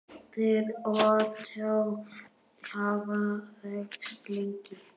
Þeir Ottó hafa þekkst lengi.